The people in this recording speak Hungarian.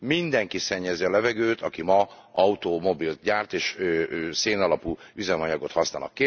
Mindenki szennyezi a levegőt, aki ma automobilt gyárt és szénalapú üzemanyagot használ.